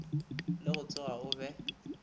le go tsoga o be